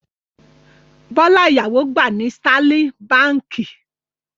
Bọ́lá ìyàwó gbà ní Sterling Báńkì.